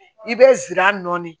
I bɛ zira nɔɔni